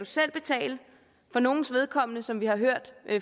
selv betale for nogles vedkommende som vi har hørt